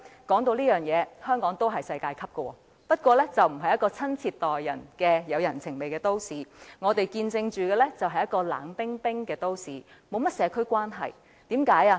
說到這點，香港也是世界級的，但它並非一個親切待人、有人情味的都市，而是一個冷冰冰的都市，沒有甚麼社區關係。